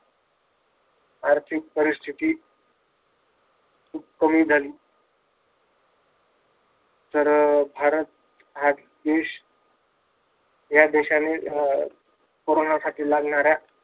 आर्थिक परिस्तिथी खूप कमी झाली. तर भारत हा देश या देशाने कोरोनासाठी लागणाऱ्या